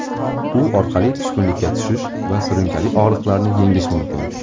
U orqali tushkunlikka tushish va surunkali og‘riqlarni yengish mumkin.